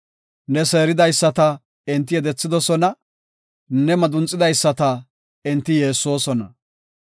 Ne seeridaysata enti yedethidosona; ne madunxisidaysata enti yeessosona.